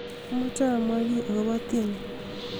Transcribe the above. amoje amwa gii agopo tieni